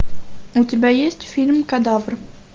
у тебя есть фильм кадавр